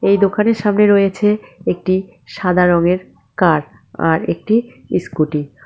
এই দোকানের সামনে রয়েছে একটি সাদা রঙের কার আর একটি ইস্কুটি ।